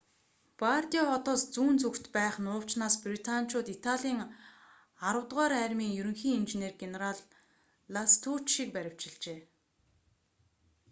бардиа хотоос зүүн зүгт байх нуувчнаас британичууд италийн аравдугаар армийн ерөнхий инженер генерал ластуччийг баривчилжээ